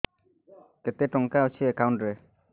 କେତେ ଟଙ୍କା ଅଛି ଏକାଉଣ୍ଟ୍ ରେ